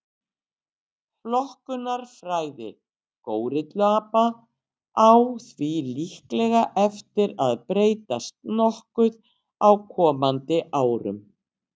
flokkunarfræði górilluapa á því líklega eftir að breytast nokkuð á komandi árum